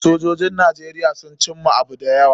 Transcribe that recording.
Sojojin Najeriya sun cimma abu da yawa.